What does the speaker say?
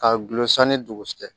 Ka gulon san ni dugu jɛ